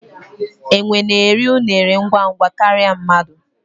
enwe na-eri unere ngwa ngwa karịa mmadụ.